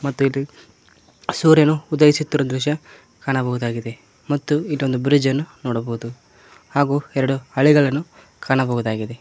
ಮತ್ತು ಇಲ್ಲಿ ಸೂರ್ಯನು ಉದಯಿಸುತಿರುವ ದೃಶ್ಯ ಕಾಣಬಹುದಾಗಿದೆ ಮತ್ತು ಇಲ್ಲೊಂದು ಬ್ರಿಡ್ಜ್ ಅನ್ನು ನೋಡಬೋದು ಹಾಗೂ ಎರಡು ಹಳಿಗಳನ್ನು ಕಾಣಬಹುದಾಗಿದೆ.